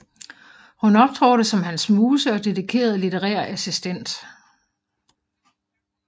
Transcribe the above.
Hun optrådte som hans muse og dedikeret litterær assistent